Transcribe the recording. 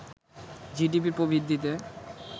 GDP প্রবৃদ্ধিতে